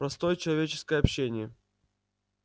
простое человеческое общение